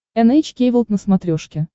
эн эйч кей волд на смотрешке